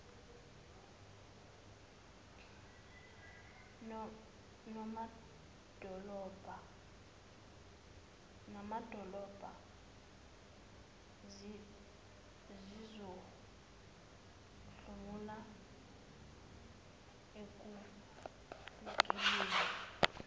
namadolobha zizohlomula ekufukulweni